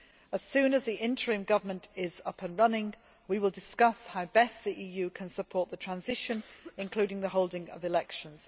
As soon as the interim government is up and running, we shall discuss how best the EU can support the transition, including the holding of elections.